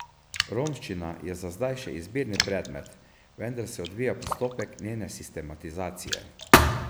Romščina je za zdaj še izbirni predmet, vendar se odvija postopek njene sistematizacije.